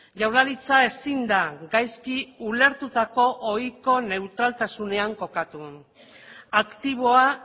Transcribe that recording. jaurlaritza ezin da gaizki ulertutako ohiko neutraltasunean kokatu aktiboa